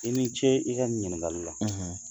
I ni ce i ka ɲininkali la